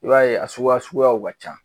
I b'a ye a suguya suguyaw ka ca